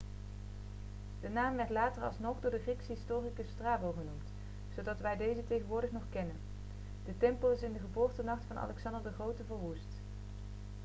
de naam werd later alsnog door de griekse historicus strabo genoemd zodat wij deze tegenwoordig nog kennen de tempel is in de geboortenacht van alexander de grote verwoest